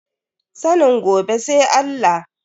Sanin gobe sai Allah.